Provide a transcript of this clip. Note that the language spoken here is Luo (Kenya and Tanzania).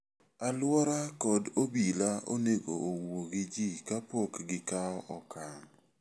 Alwora kod obila onego owuo gi ji kapok gikawo okang'.